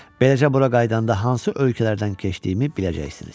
Beləcə bura qayıdanda hansı ölkələrdən keçdiyimi biləcəksiniz.